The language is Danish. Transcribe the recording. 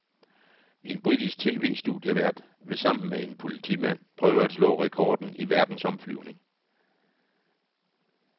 En britisk TVstudievært vil sammen med en politimand prøve at slå rekorden i verdensomflyvning.